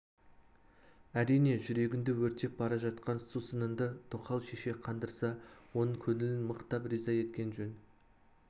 әрине жүрегіңді өртеп бара жатқан сусыныңды тоқал шеше қандырса оның көңілін мықтап риза еткен жөн